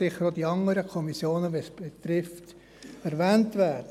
Sicher dürfen auch die anderen Kommissionen in diesem Bericht erwähnt werden.